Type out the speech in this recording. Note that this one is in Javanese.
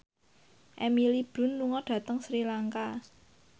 Emily Blunt lunga dhateng Sri Lanka